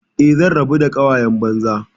Eh, zan rabu da ƙawayen banza.